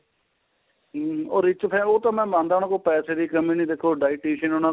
ਹਮ ਉਹ rich family ਉਹ ਤਾਂ ਮੈਂ ਮਨਦਾ ਉਹਨਾ ਕੋਲ ਪੈਸੇ ਦੀ ਕਮੀ ਨੀ ਦੇਖੋ dietician